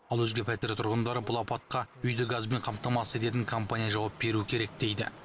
ал өзге пәтер тұрғындары бұл апатқа үйді газбен қамтамасыз ететін компания жауап беруі керек дейді